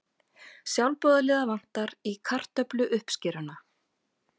Sjálfboðaliða vantar í kartöfluuppskeruna